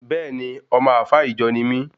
Bẹẹni, ọmọ Alfa ìjọ ní mí